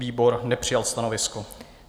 Výbor nepřijal stanovisko.